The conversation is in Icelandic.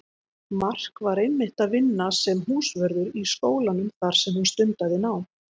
Mark var einmitt að vinna sem húsvörður í skólanum þar sem hún stundaði nám.